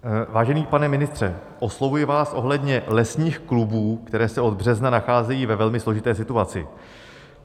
Vážený pane ministře, oslovuji vás ohledně lesních klubů, které se od března nacházejí ve velmi složité situaci.